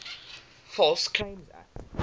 false claims act